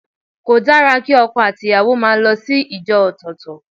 Kò dára kí ọkọ àti ìyàwó máa lọ sí ìjọ ọ̀tọ̀ọ̀tọ̀.